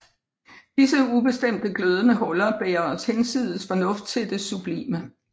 Disse ubestemte glødende huller bærer os hinsides fornuft til det sublime